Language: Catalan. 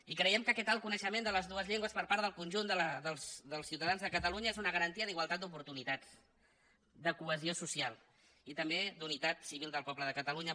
i creiem que aquest alt coneixement de les dues llengües per part del conjunt dels ciutadans de catalunya és una garantia d’igualtat d’oportunitats de cohesió social i també d’unitat civil del poble de catalunya